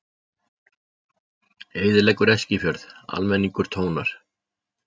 Eyðileggur Eskifjörð, almenningur tónar